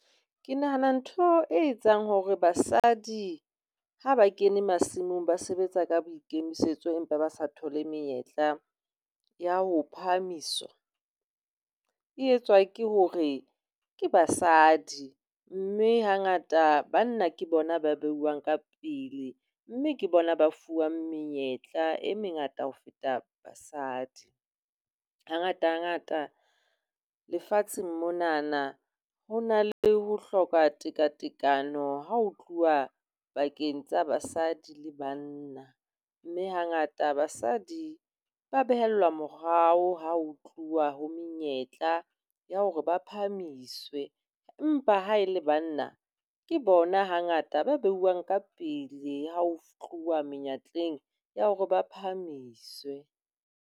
Ke nahana ntho e etsang hore basadi ha ba kene masimong ba sebetsa ka boikemisetso, empa ba sa thole menyetla ya ho phahamiswa. E etswa ke hore ke basadi mme hangata banna ke bona ba beuwang ka pele mme ke bona ba fuwang menyetla e mengata ho feta basadi. Hangatangata lefatshe monana ho na le ho hloka tekatekano ha ho tluwa pakeng tsa basadi le banna, mme hangata basadi ba behellwa morao ha ho tluwa ho menyetla ya hore ba phahamiswe empa ha e le banna ke bona hangata ba beuwang ka pele ho tluwa menyetleng ya hore ba phahamiswe.